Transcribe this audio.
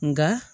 Nka